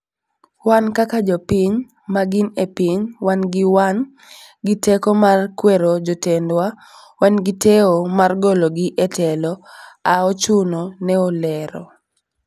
wan kaka jo piny ma gin e piny wan gi wan gi teko mar kwero jotendwa, wan gi teo mar golo gi e telo a ochuno," ne olero